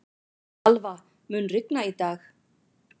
Alva, mun rigna í dag?